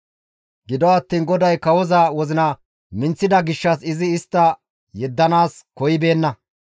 Gido attiin GODAY kawoza wozina minththida gishshas izi istta yeddanaas koyibeenna.